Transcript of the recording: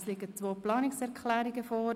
Es liegen zwei Planungserklärungen vor.